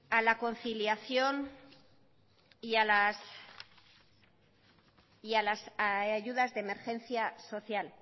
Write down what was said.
a la conciliación y a las ayudas de emergencia social